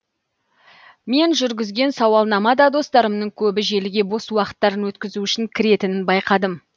мен жүргізген сауалнама да достарымның көбі желіге бос уақыттарын өткізу үшін кіретінін байқадым